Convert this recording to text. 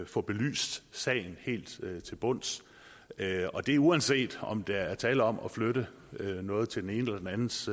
få belyst sagen helt til bunds og det er uanset om der er tale om at flytte noget til den enes eller den andens